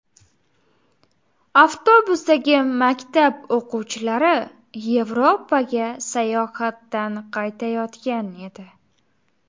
Avtobusdagi maktab o‘quvchilari Yevropaga sayohatdan qaytayotgan edi.